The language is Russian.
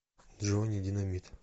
джонни динамит